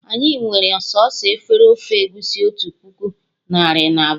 Anyị nwere sọsọ efere ofe egusi otu puku narị na abụọ